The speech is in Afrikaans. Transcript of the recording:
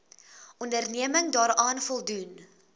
onderneming daaraan voldoen